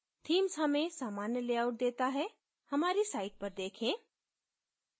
themes हमें सामान्य layout देता है हमारी site पर देखें